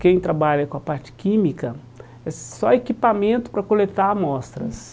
Quem trabalha com a parte química, é só equipamento para coletar amostras.